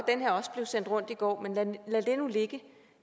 at sendt rundt i går men lad det nu ligge